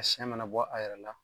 Siyɛ mɛnɛ bɔ a yɛrɛ la.